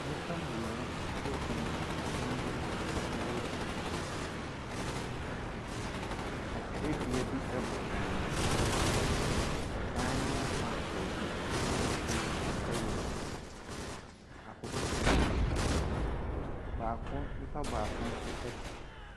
Nnipa mmienu egyina dan bi mu a wɔreyɛ adwuma. Atwerɛdua bi bɔ dan no ho. Ɛdan no fa baabi ahosuo yɛ akokɔsradeɛ. Baako, nnipa baako nso te hɔ.